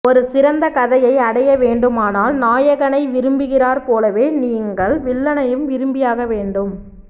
ஒரு சிறந்த கதையை அடைய வேண்டுமானால் நாயகனை விரும்புகிறாற்போலவே நீங்கள் வில்லனையும் விரும்பியாக வேண்டும்